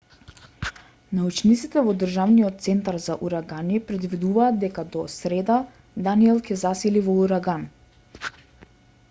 научниците во државниот центар за урагани предвидуваат дека до среда даниел ќе се засили во ураган